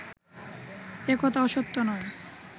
একথা অসত্য নয়